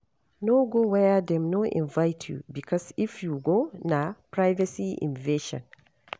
No go where dem no invite you because if you go na privacy invasion